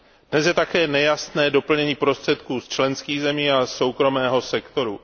Dnes je také nejasné doplnění prostředků z členských zemí a soukromého sektoru.